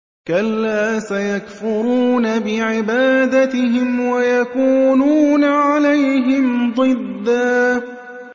كَلَّا ۚ سَيَكْفُرُونَ بِعِبَادَتِهِمْ وَيَكُونُونَ عَلَيْهِمْ ضِدًّا